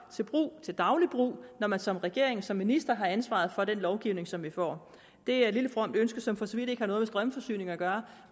til daglig brug når man som regering og som minister har ansvaret for den lovgivning som vi får det er et lille fromt ønske som for så vidt ikke har noget med strømforsyning at gøre